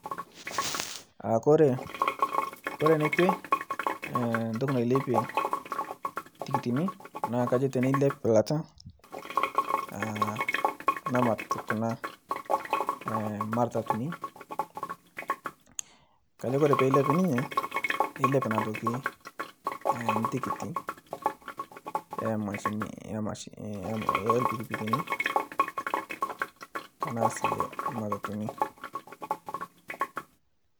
Ore enekwe, entoki nailepie intikiti naa teneilep eilata naok kuna matatuni, ore peeilep neilep tikit oo irpikipikini aashu enoomatatuni.